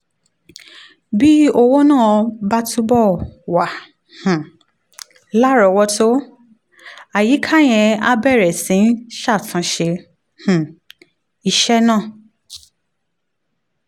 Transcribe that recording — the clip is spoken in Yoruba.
bí owó náà bá túbọ̀ wà um lárọ̀ọ́wọ́tó àyíká yẹn á bẹ̀rẹ̀ sí í ṣàtúnṣe um iṣẹ́ náà